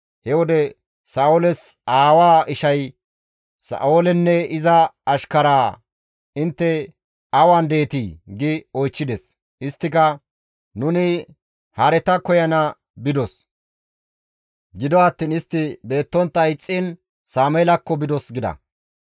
He wode Sa7ooles aawaa ishay Sa7oolenne iza ashkaraa, «Intte awan deetii?» gi oychchides; isttika, «Nuni hareta koyana bidos; gido attiin istti beettontta ixxiin Sameelakko bidos» gida.